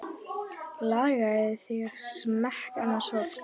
Lagaðir þig að smekk annars fólks.